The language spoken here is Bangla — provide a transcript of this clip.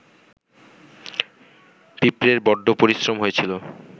পিঁপড়ের বড্ড পরিশ্রম হয়েছিল